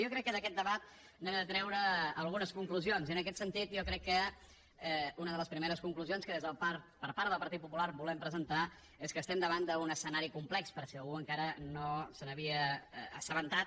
jo crec que d’aquest debat n’hem de treure algunes conclusions i en aquest sentit jo crec que una de les primers conclusions que per part del partit popular volem presentar és que estem davant d’un escenari complex per si algú encara no se n’havia assabentat